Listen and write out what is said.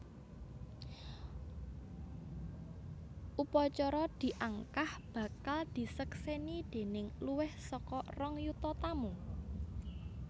Upacara diangkah bakal diseksèni déning luwih saka rong yuta tamu